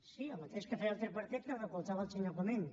sí el mateix que feia el tripartit que recolzava el senyor comín